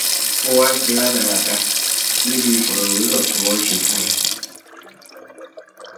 o wá ń sọ rádaràda níbi ìfọrọwérọ tí wọn ṣe fún ẹ